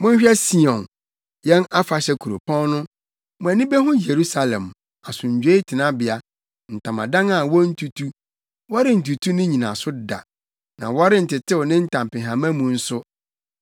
Monhwɛ Sion, yɛn afahyɛ kuropɔn no; mo ani behu Yerusalem, asomdwoe tenabea, ntamadan a wontutu; wɔrentutu ne nnyinaso da, na wɔrentetew ne ntampehama mu nso.